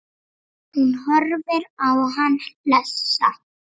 Hún horfir á hann hlessa.